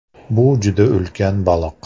Bu juda ulkan baliq.